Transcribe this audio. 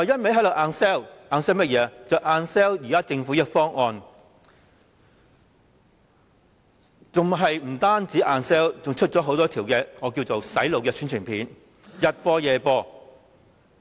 便是硬銷現時的政府方案，不僅是硬銷，還推出很多我稱之為"洗腦"的宣傳片，早晚播放。